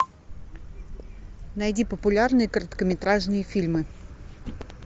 найди популярные короткометражные фильмы